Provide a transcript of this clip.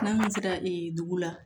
N'an sera dugu la